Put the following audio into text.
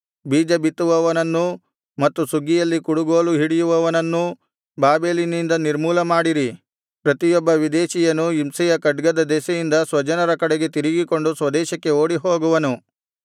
ಬೀಜ ಬಿತ್ತುವವನನ್ನೂ ಮತ್ತು ಸುಗ್ಗಿಯಲ್ಲಿ ಕುಡುಗೋಲು ಹಿಡಿಯುವವನನ್ನೂ ಬಾಬೆಲಿನಿಂದ ನಿರ್ಮೂಲಮಾಡಿರಿ ಪ್ರತಿಯೊಬ್ಬ ವಿದೇಶೀಯನು ಹಿಂಸೆಯ ಖಡ್ಗದ ದೆಸೆಯಿಂದ ಸ್ವಜನರ ಕಡೆಗೆ ತಿರುಗಿಕೊಂಡು ಸ್ವದೇಶಕ್ಕೆ ಓಡಿಹೋಗುವನು